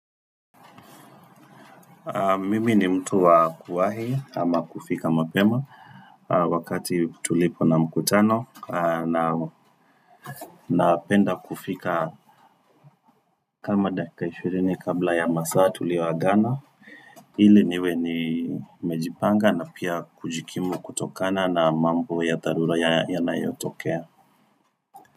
Mimi ni mtu wa kuwahi ama kufika mapema wakati tulipo na mkutano na napenda kufika kama dakika 20 kabla ya masaa tulio agana ili niwe ni nimejipanga na pia kujikimu kutokana na mambo ya dharura ya yanayotokea.